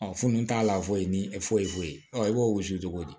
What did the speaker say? fununnu t'a la foyi ni foyi foyi foyi i b'o gosi cogo di